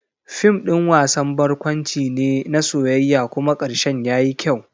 Fim ɗin wasan barkwanci ne na soyayya kuma karshen yayi kyau.